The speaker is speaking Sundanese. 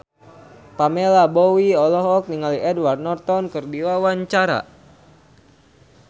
Pamela Bowie olohok ningali Edward Norton keur diwawancara